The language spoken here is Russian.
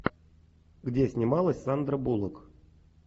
где снималась сандра буллок